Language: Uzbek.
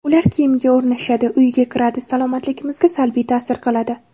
Ular kiyimga o‘rnashadi, uyga kiradi, salomatligimizga salbiy ta’sir qiladi.